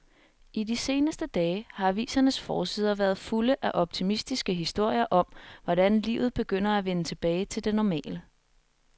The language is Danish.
I de seneste dage har avisernes forsider været fulde af optimistiske historier om, hvordan livet begynder at vende tilbage til det normale.